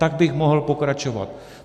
Tak bych mohl pokračovat.